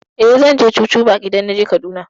Eh, zan je chuchu park idan naje Kaduna.